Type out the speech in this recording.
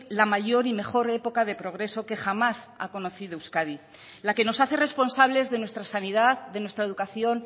la mayor y mejor época de progreso que jamás ha conocido euskadi la que nos hace responsables de nuestra sanidad de nuestra educación